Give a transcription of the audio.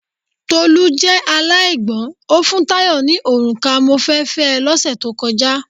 Tolú jẹ́ aláìgbọ́ń, o fún Tayo ni òrùka mo fẹ́ fẹ́ ẹ lọ́ sẹ̀ tó kọjá.